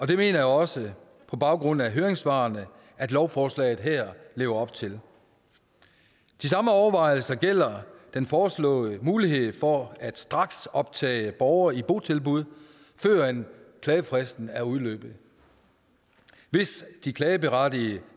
det mener jeg også på baggrund af høringssvarene at lovforslaget her lever op til de samme overvejelser gælder den foreslåede mulighed for at straksoptage borgere i botilbud før klagefristen er udløbet hvis de klageberettigede